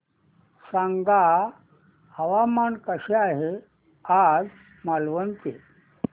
सांगा हवामान कसे आहे आज मालवण चे